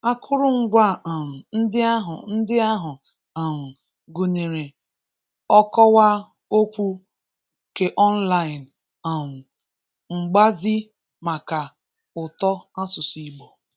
Akụrụngwa um ndị ahụ ndị ahụ um gụnyere ọkọwa okwu keọnlaịn, um mgbazi maka ụtọ asụsụ Igbo